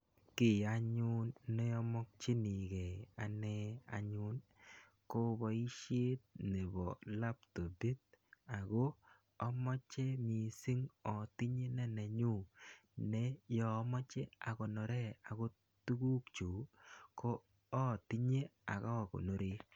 Kiy anyun neamakchinekei anee anyun, ko boisiet nebo laptopit. Ako amache missing atinye ne nenyu. Ne yeamache akonore akot tuguk chuk, ko atinye akakonore.